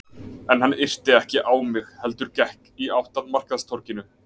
En hann yrti ekki á mig heldur gekk í átt að markaðstorginu.